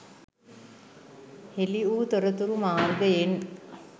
හෙළිවූ තොරතුරු මාර්ගයෙන්